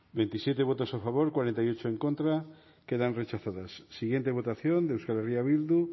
bozketaren emaitza onako izan da hirurogeita hamabost eman dugu bozka hogeita zazpi boto alde cuarenta y ocho contra quedan rechazadas siguiente votación de euskal herria bildu